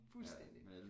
Fuldstændig